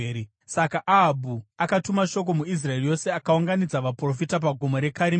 Saka Ahabhu akatuma shoko muIsraeri yose akaunganidza vaprofita paGomo reKarimeri.